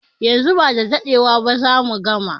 Yanzu ba dadewa zamu gama